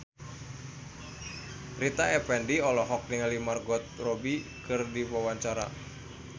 Rita Effendy olohok ningali Margot Robbie keur diwawancara